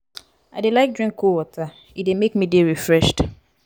i dey like drink cold water e dey make me dey refreshed.